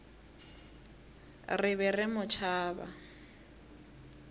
re be re mo tšhaba